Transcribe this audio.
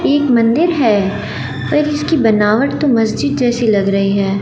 एक मंदिर है पर इसकी बनावट तो मस्जिद जैसी लग रही है।